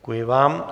Děkuji vám.